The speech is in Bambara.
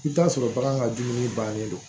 I bɛ t'a sɔrɔ bagan ka dumuni bannen do